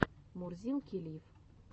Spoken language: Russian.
мурзилки лив